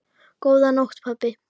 Góða nótt, pabbi.